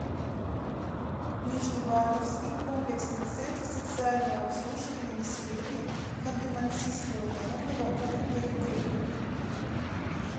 нижневартовский комплексный центр социального обслуживания населения ханты мансийского автономного округа югры